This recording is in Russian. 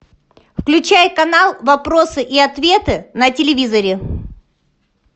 включай канал вопросы и ответы на телевизоре